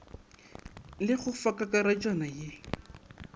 le go fa kakaretšwana ye